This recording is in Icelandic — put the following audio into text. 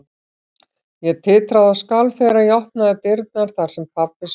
Ég titraði og skalf þegar ég opnaði dyrnar þar sem pabbi svaf.